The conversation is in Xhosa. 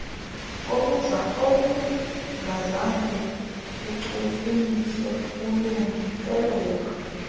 obungazange bachukunyiswa kulungiselelwa